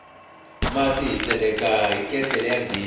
mati hi tseleka hi ketlele ya ghezi